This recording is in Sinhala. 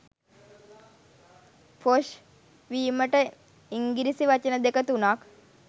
පොෂ් වීමට ඉන්ගිරිසි වචන දෙක තුනක්